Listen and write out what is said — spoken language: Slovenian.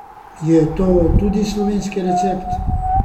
Je to tudi slovenski recept?